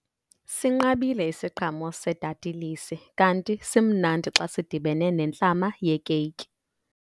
Sinqabile isiqhamo sedatilisi kanti simnandi xa sidibene nentlama yeekeyiki.